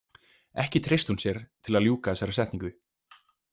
Ekki treysti hún sér til að ljúka þessari setningu.